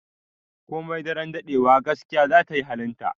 Komai daren daɗewa, gaskiya za ta yi halinta.